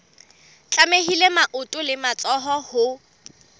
tlamehile maoto le matsoho ho